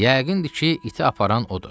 Yəqindir ki, iti aparan odur.